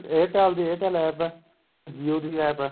airtel ਦੀ airtel APP ਐ jio ਦੀ APP ਐ